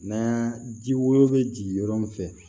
Na ji woyo be jigin yɔrɔ min fɛ